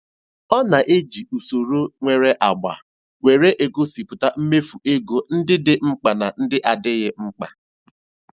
Ọ na-eji usoro nwere agba were egosịpụta mmefu ego ndị dị mkpa na ndị adịghị mkpa.